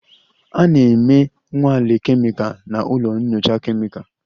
A na-eme nnwale kemịkal na ụlọ nyocha kemịkalụ